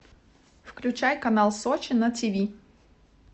включай канал сочи на тиви